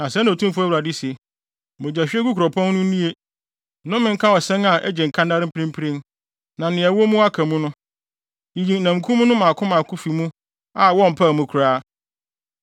“ ‘Na sɛɛ na Otumfo Awurade se: “ ‘Mogyahwiegu kuropɔn no nnue, nnome nka ɔsɛn a agye nkannare mprempren, na nea ɛwɔ mu aka mu no! Yiyi namkum no mmaako mmaako fi mu a wompaw mu koraa.